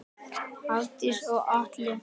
Hafdís og Atli.